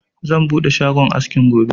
Zan buɗe shagon askin gobe